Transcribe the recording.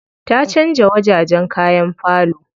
Ta canza wajajen kayan falo.